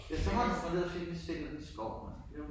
Efterhånden dernede fik vi set lidt af skoven altså det jo